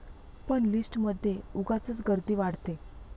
पण लिस्ट मधे उगाचच गर्दी वाढते.